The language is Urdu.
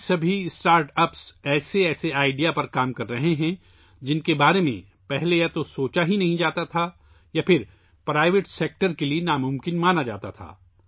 یہ تمام اسٹارٹ اَپس ایسے آئیڈیاز پر کام کر رہے ہیں، جن کے بارے میں یا تو پہلے سوچا بھی نہیں گیا تھا، یا پرائیویٹ سیکٹر کے لیے ناممکن سمجھا جاتا تھا